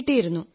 കിട്ടിയിരുന്നു